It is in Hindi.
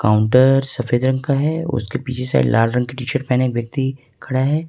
काउंटर सफेद रंग का है उसके पीछे साइड लाल रंग की टीशर्ट पहने एक व्यक्ति खड़ा है।